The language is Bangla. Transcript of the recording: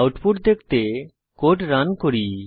আউটপুট দেখতে কোড রান করি